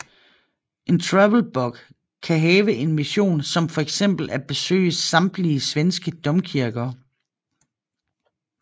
En travelbug kan have en mission som for eksempel at besøge samtlige svenske domkirker